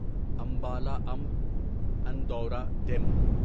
Ambala Amb Andaura demo